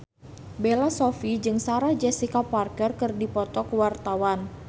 Bella Shofie jeung Sarah Jessica Parker keur dipoto ku wartawan